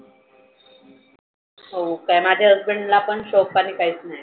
हो काय माझ्या husband ला पण काही शोक पाणी नाही.